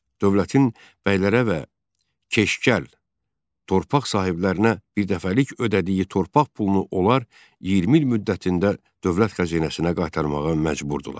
Dövlətin bəylərə və keşgəl torpaq sahiblərinə birdəfəlik ödədiyi torpaq pulunu onlar 20 il müddətində dövlət xəzinəsinə qaytarmağa məcburdurlar.